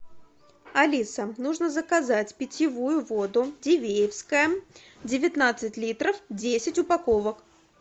алиса нужно заказать питьевую воду дивеевская девятнадцать литров десять упаковок